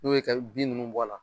Ni y'o kɛ e bɛ bin ninnu bɔ a la.